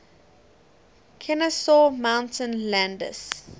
kenesaw mountain landis